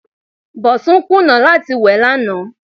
Bọ̀sún kùnà láti wẹ̀ lánàá.